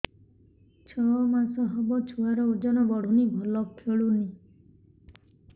ଛଅ ମାସ ହବ ଛୁଆର ଓଜନ ବଢୁନି ଭଲ ଖେଳୁନି